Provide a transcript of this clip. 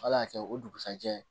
Ala y'a kɛ o dugusɛjɛ